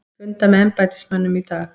Funda með embættismönnum í dag